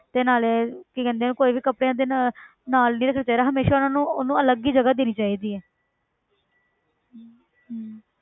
ਤੇ ਨਾਲੇ ਕੀ ਕਹਿੰਦੇ ਆ ਕੋਈ ਵੀ ਕੱਪੜਿਆਂ ਦੇ ਨਾ~ ਨਾਲ ਨੀ ਰੱਖਣਾ ਚਾਹੀਦਾ ਹਮੇਸ਼ਾ ਉਹਨਾਂ ਨੂੰ ਉਹਨੂੰ ਅਲੱਗ ਹੀ ਜਗ੍ਹਾ ਦੇਣੀ ਚਾਹੀਦੀ ਹੈ ਹਮ